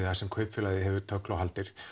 þar sem kaupfélagið hefur tögl og haldir